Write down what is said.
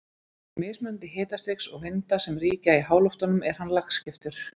Vegna mismunandi hitastigs og vinda sem ríkja í háloftunum er hann lagskiptur.